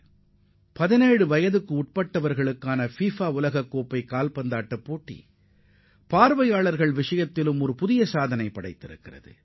FIFA 17 வயதிற்குட்பட்டோருக்கான உலகக் கோப்பை போட்டி மைதானத்தில் நேரில் கண்டுகளித்தவர்களின் எண்ணிக்கையில் சாதனை படைத்துள்ளது